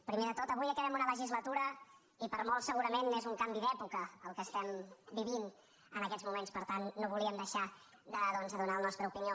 primer de tot avui acabem una legislatura i per a molts segurament és un canvi d’època el que estem vivint en aquests moments per tant no volíem deixar de doncs donar la nostra opinió